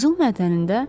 Qızıl mədənində?